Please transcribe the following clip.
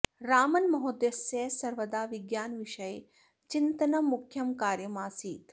रामन् महोदयस्य सर्वदा विज्ञानविषये चिन्तनं मुख्यं कार्यम् आसीत्